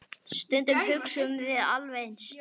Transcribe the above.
Stundum hugsum við alveg eins.